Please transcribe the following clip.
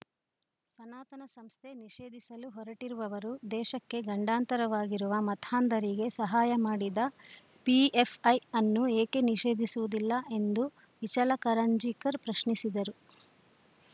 ಸನಾತನ ಸಂಸ್ಥೆ ನಿಷೇಧಿಸಲು ಹೊರಟಿರುವವರು ದೇಶಕ್ಕೆ ಗಂಡಾಂತರವಾಗಿರುವ ಮತಾಂಧರಿಗೆ ಸಹಾಯ ಮಾಡಿದ ಪಿಎಫ್‌ಐ ಅನ್ನು ಏಕೆ ನಿಷೇಧಿಸುವುದಿಲ್ಲ ಎಂದು ಇಚಲಕರಂಜಿಕರ್‌ ಪ್ರಶ್ನಿಸಿದರು